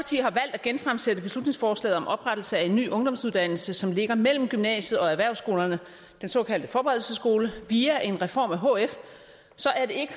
at genfremsætte beslutningsforslaget om oprettelse af en ny ungdomsuddannelse som ligger mellem gymnasiet og erhvervsskolerne den såkaldte forberedelsesskole via en reform af hf så er det ikke